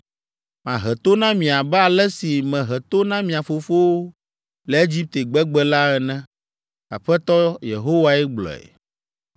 Mahe to na mi abe ale si mehe to na mia fofowo le Egipte gbegbe la ene.’ Aƒetɔ Yehowae gblɔe.